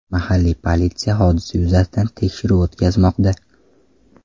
Mahalliy politsiya hodisa yuzasidan tekshiruv o‘tkazmoqda.